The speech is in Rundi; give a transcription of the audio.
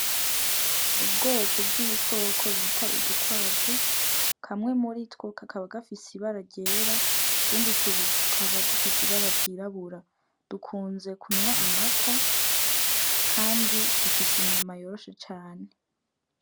Ubwoko bw'ibikoko bita udukwavu kamwe muritwo kakaba gafise ibara ryera utundi tubiri tukaba dufise ibara ry'irabura dukunze kunwa amata kandi dufise inyama yoroshe cane.